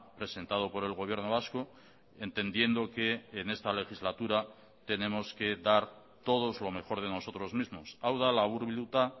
presentado por el gobierno vasco entendiendo que en esta legislatura tenemos que dar todos lo mejor de nosotros mismos hau da laburbilduta